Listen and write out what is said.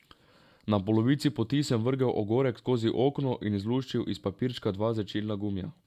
Na polovici poti sem vrgel ogorek skozi okno in izluščil iz papirčka dva žvečilna gumija.